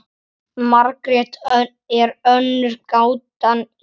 Margrét er önnur gátan til.